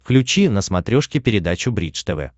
включи на смотрешке передачу бридж тв